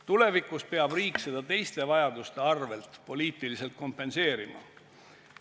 Tulevikus peab riik seda teiste vajaduste arvel poliitiliselt kompenseerima.